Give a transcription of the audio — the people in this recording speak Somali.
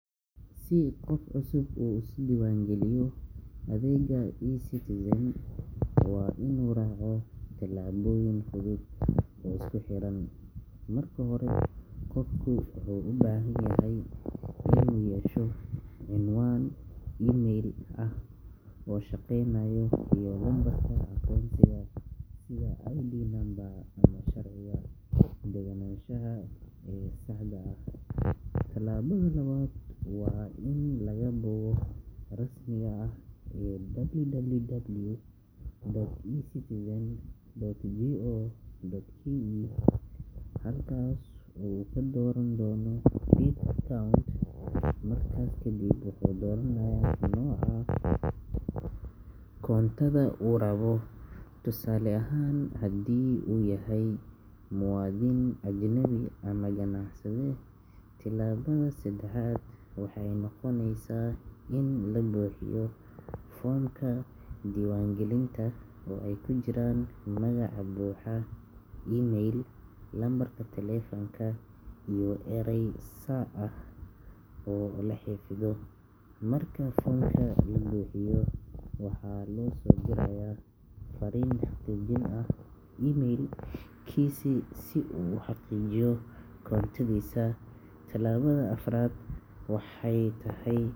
Si qof cusub uu isu diiwaan geliyo adeegga eCitizen, waa inuu raaco tillaabooyin fudud oo isku xiran. Marka hore, qofku wuxuu u baahan yahay inuu yeesho cinwaan email ah oo shaqeynaya iyo lambarka aqoonsiga sida ID number ama sharciga deganaanshaha ee saxda ah. Tillaabada labaad waa in la galo bogga rasmiga ah ee www.ecitizen.go.ke, halkaasoo uu ka dooran doono "Create Account". Markaas kadib, wuxuu dooranayaa nooca koontada uu rabo, tusaale ahaan haddii uu yahay muwaadin, ajnabi ama ganacsade. Tillaabada saddexaad waxay noqonaysaa in la buuxiyo foomka diiwaangelinta oo ay ku jiraan magaca buuxa, email, lambarka taleefanka, iyo eray sir ah oo la xafido. Markuu foomka buuxiyo, waxaa loo soo dirayaa farriin xaqiijin ah email-kiisa si uu u xaqiijiyo koontadiisa. Tillaabada afraad waxay tahay.